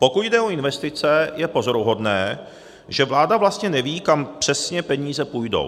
Pokud jde o investice, je pozoruhodné, že vláda vlastně neví, kam přesně peníze půjdou.